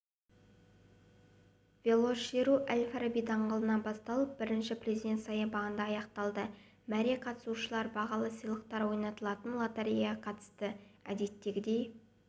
велошеру әл-фараби даңғылынан басталып бірінші президент саябағында аяқталды мәреде қатысушылар бағалы сыйлықтар ойнатылатын лотереяға қатысты әдеттегідей